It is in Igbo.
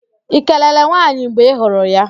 Ị kelere nwaanyị mgbe ị hụrụ ya?